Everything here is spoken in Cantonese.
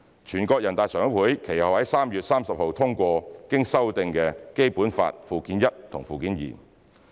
全國人大常委會其後在3月30日通過經修訂的《基本法》附件一和附件二。